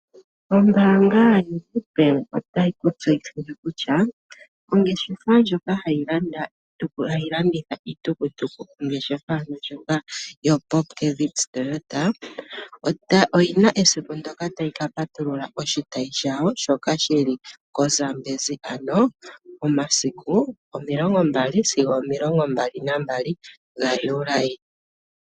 Ombaanga yoNedbank otayi ku tseyithile kutya ongeshefa ndjoka hayi landitha iitukutuku, ongeshafa ndjoka yoPupkewitz Toyota, oyi na esiku ndyoka tayi ka patulula oshitayi shawo shoka shi li koZambezi momasiku 20 sigo 22 Juli.